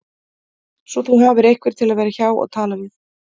Svo þú hafir einhvern til að vera hjá og tala við